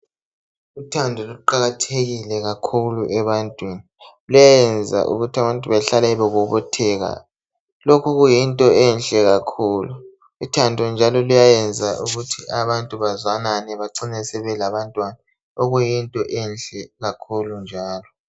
Uthando kuqakathekile kakhulu ebantwini luyayenza ukuthi abantu bahlale bebobotheka lokhu kuyinto enhle kakhulu uthando njalo luyayenza ukuthi abantu bazwanane bacine labantwana okuyinto enhle kakhulu njalo